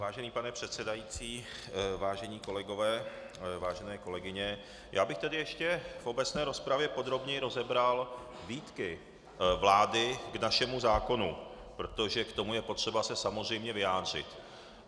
Vážený pane předsedající, vážení kolegové, vážené kolegyně, já bych tady ještě v obecné rozpravě podrobněji rozebral výtky vlády k našemu zákonu, protože k tomu je potřeba se samozřejmě vyjádřit.